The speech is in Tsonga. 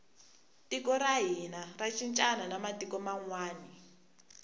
tiko ra hina ra cincana na matiku manwani